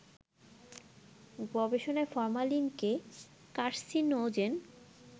গবেষণায় ফরমালিনকে কার্সিনোজেন